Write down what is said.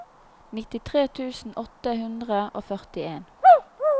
nittitre tusen åtte hundre og førtien